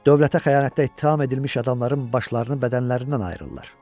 Dövlətə xəyanətdə ittiham edilmiş adamların başlarını bədənlərindən ayırırlar.